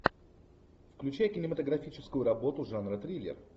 включай кинематографическую работу жанра триллер